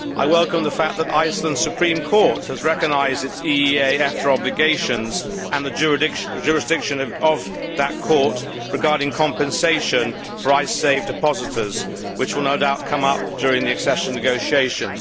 I welcome the fact that Iceland's Supreme Court has recognised its EEA EFTA obligations and the jurisdiction of that court regarding compensation for Icesave depositors, which will no doubt come up during the accession negotiations.